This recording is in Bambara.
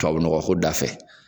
Tubabu nɔgɔ ko da fɛ